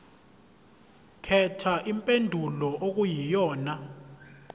khetha impendulo okuyiyona